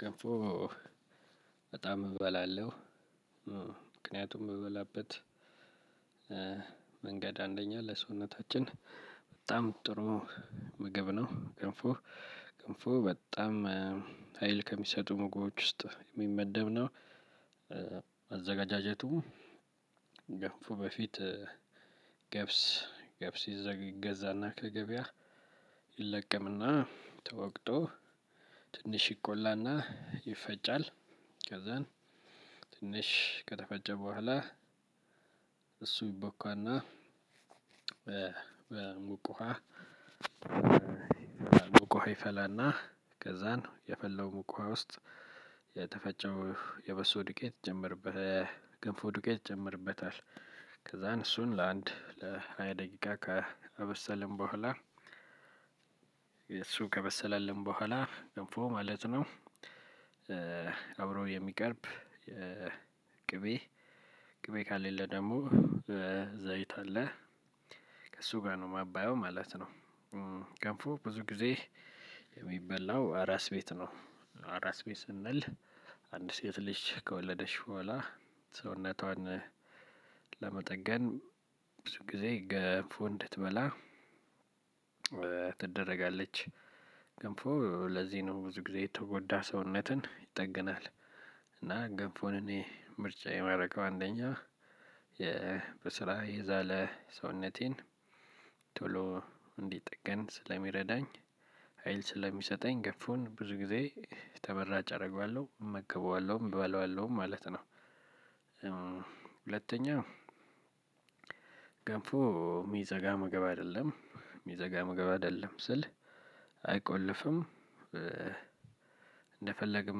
ገንፎ በጣም እበላለሁ ምክንያቱ የምበላበት መንገድ አንደኛ ለሰውነታችን በጣም ጥሩ ምግብ ነው ገንፎ ገንፎ በጣም ሀይል ከሚሰጡ ምግቦች ውስጥ የሚመደብ ነው። አዘገጃጀቱ ገንፎ በፊት ገብስ ይገዛና ከገበያ ይለቀምና ተወቅጦ ትንሽ ይቆላና ይፈጫል ከዛን ትንሽ ከተፈጨ በኋላ እሱ ይቦካና በሙቅ ውሃ በሙቅ ውሃ ይፈላና ከዛን የፈለው ሙቅ ውሃ ውስጥ የተፈጨው የበሶ ዱቄት ይጨመርበት የገንፎ ዱቄት ይጨመርበታል። ከዛን እሱን ለአንድ ለሃያ ደቂቃ ካበሰልን በኋላ እሱ ከበሰለልን በኋላ ገንፎ ማለት ነው። አብሮ የሚቀርብ የቅቤ ቅቤ ካሌለ ደግሞ በዘይት አለ ከእሱ ጋር ነው ማባያው ማለት ነው። ገንፎ ብዙ ጊዜ የሚበላው አራስ ቤት ነው አራስ ቤት ስንል አንድ ሴት ልጅ ከወለደች በኋላ ሰውነቷን ለመጠገን ብዙ ጊዜ ገንፎ እንድትበላ ትደረጋለች። ገንፎ ለዚህ ነው ብዙ ጊዜ የተጎዳ ሰውነትን ይጠግናል። እና ገንፎን እኔ ምርጫዬ የማረገው አንደኛ በስራ የዛለ ሰውነቴን ቶሎ እንዲጠገን ስለሚረዳኝ ሀይል ስለሚሰጠኝ ገንፎን ብዙ ጊዜ ተመራጭ አደርገዋለሁ እመገበዋለሁም እበለዋለሁም ማለት ነው። ሁለተኛ ገንፎ የሚዘጋ ምግብ አይደለም የሚዘጋ ምግብ አይደለም ስል አይቆልፍም። እንደፈለግን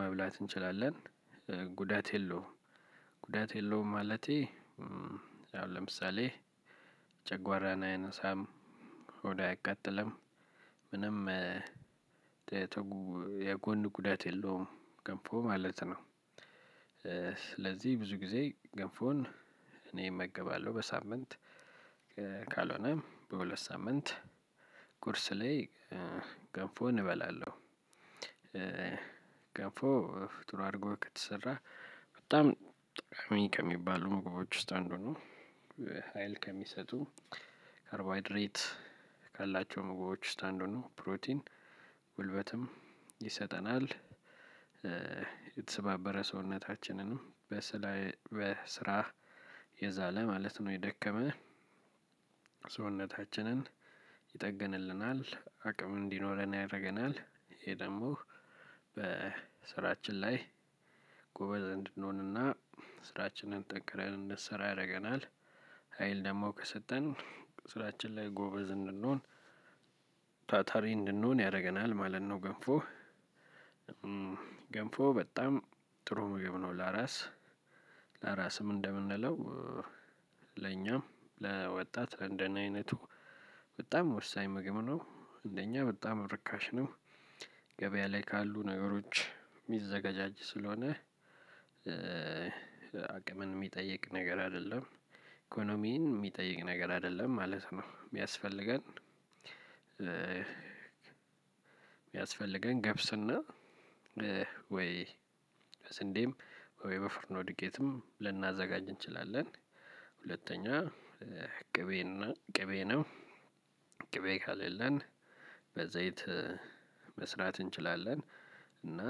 መብላት እንችላለን ጉዳት የለውም። ጉዳት የለውም ማለቴ አሁን ለምሳሌ ጨጓራን አያነሳም ሆድ አያቃጥልም ምንም የጎን ጉዳት የለውም ገንፎ ማለት ነው። ስለዚህ ብዙ ጊዜ ገንፎን እኔ እመገባለሁ በሳምንት ካልሆነ በሁለት ሳምንት ቁርስ ላይ ገንፎ እንበላለን። ገንፎ ጥሩ አድርጎ ከተሰራ በጣም ጠቃሚ ከሚባሉ ምግቦች ውስጥ አንዱ ነው። ሀይል ከሚሰጡ ካርቦሃይድሬት ካላቸው ምግቦች ውስጥ አንዱ ነው ፕሮቲን ጉልበትም ይሰጠናል። የተሰባበረ ሰውነታችንን በስራ የዛለ ማለት ነው የደከመ ሰውነታችንን ይጠግንልናል አቅም እንዲኖረን ያደርገናል። ይሄ ደግሞ በስራችን ላይ ጎበዝ እንድንሆንና ስራችንን ጠንክረን እንድንሰራ ያደርገናል። ሀይል ደግሞ ከሰጠን ስራችን ላይ ጎበዝ እንድንሆን ታታሪ እንድንሆን ያደርገናል ማለት ነው። ገንፎ ገንፎ በጣም ጥሩ ምግብ ነው። ለራስ ለራስም እንደምንለው ለኛም ለወጣት ለንደኔ አይነቱ በጣም ወሳኝ ምግብ ነው። አንደኛ በጣም ርካሽ ነው። ገበያ ላይ ካሉ ነገሮች የሚዘገጃጅ ስለሆነ አቅምን የሚጠይቅ ነገር አይደለም ኢኮኖሚን የሚጠይቅ ነገር አይደለም ማለት ነው። የሚያስፈልገን የሚያስፈልገን ገብስና ወይ ስንዴም ወይ በፍርኖ ድቄትም ልናዘጋጅ እንችላለን። ሁለተኛ ቅቤ እና ቅቤ ነው ቅቤ ከሌለን በዘይት መስራት እንችላለን። እና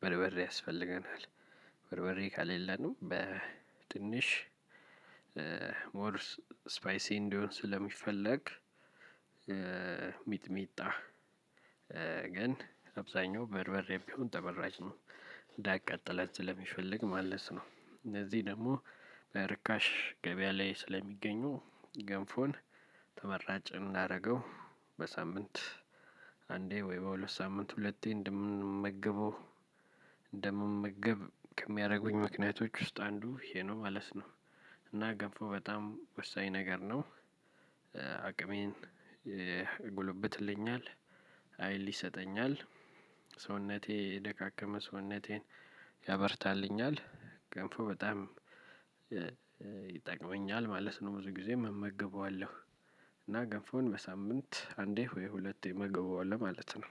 በርበሬ ያስፈልገናል። በርበሬ ከሌለንም በትንሽ ሞር ስፓይሲ እንዲሆን ስለሚፈልግ ሚጥሚጣ ግን አብዛኛው በርበሬ ቢሆን ተመራጭ ነው። እንዳያቃጥለን ስለሚፈለግ ማለት ነው። እንደዚህ ደግሞ በርካሽ ገበያ ላይ ስለሚገኙ ገንፎን ተመራጭ እንዳረገው በሳምንት አንዴ ወይ በሁለት ሳምንት ሁለቴ እንደምንመገበው እንደምመገብ ከሚያደርጉኝ ምክንያቶች ውስጥ አንዱ ይሄ ነው ማለት ነው። እና ገንፎ በጣም ወሳኝ ነገር ነው። አቅሜን ያጎለበትልኛል ሀይል ይሰጠኛል ሰውነቴ የደካከመ ሰውነቴን ያበርታልኛል ገንፎ በጣም ይጠቅመኛል ማለት ነው። ብዙ ጊዜም እመገበዋለሁ እና ገንፎን በሳምንት አንዴ ወይ ሁለቴ እመገበዋለሁ ማለት ነው